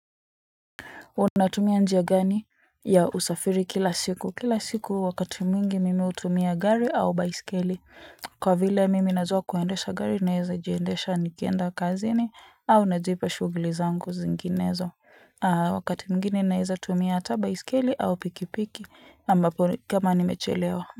Unatumia njia gani ya usafiri kila siku? Kila siku wakati mwingi mimi hutumia gari au baiskeli kwa vile mimi nazoa kuendesha gari naeza jiendesha nikienda kazini au najipa shughuli zangu zinginezo wakati mwingine naeza tumia hata baisikeli au pikipiki ambapo kama nimechelewa.